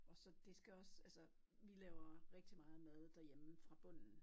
Og så det skal også altså vi laver rigtig meget mad derhjemme fra bunden